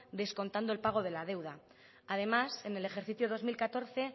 descontando el pago de la deuda además en el ejercicio dos mil catorce